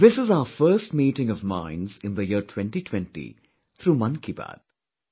This is our first meeting of minds in the year 2020, through 'Mann Ki Baat'